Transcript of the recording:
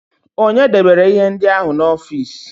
Ònye debere ihe ndị ahụ n'ọfịs?